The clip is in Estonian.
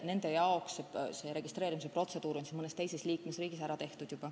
Nende jaoks on registreerimise protseduur mõnes teises liikmesriigis juba ära tehtud.